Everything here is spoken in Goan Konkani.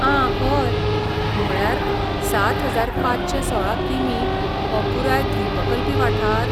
आं हय! म्हळ्यार सात हजार पांचशे सोळा कि.मी. हो पुराय द्वीपकल्पी वाठार.